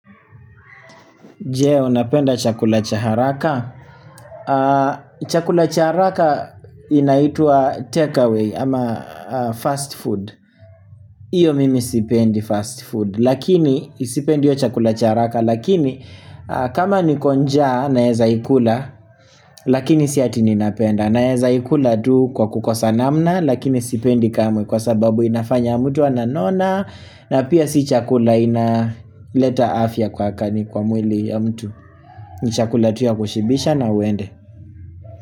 Je unapenda chakula cha haraka? Chakula cha haraka inaitwa takeaway ama fast food Iyo mimi sipendi fast food lakini sipendi hiyo chakula cha haraka lakini kama niko njaa naweza ikula Lakini si ati ninapenda naeza ikula tu kwa kukosa namna lakini sipendi kamwe kwa sababu inafanya mtu ananona na pia si chakula inaleta afya kwa kani kwa mwili ya mtu ni chakula tu ya kushibisha na uende.